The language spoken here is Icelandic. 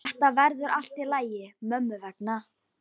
Þetta verður allt í lagi mömmu vegna.